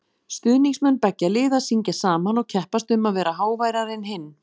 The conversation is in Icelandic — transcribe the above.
Stuðningsmenn beggja liða syngja saman og keppast um að vera háværari en hinn.